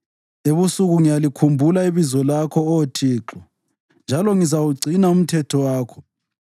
Ebusuku ngiyalikhumbula ibizo lakho, Oh Thixo, njalo ngizawugcina umthetho wakho.